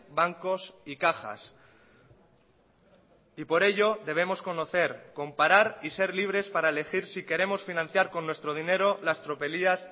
bancos y cajas y por ello debemos conocer comparar y ser libres para elegir si queremos financiar con nuestro dinero las tropelías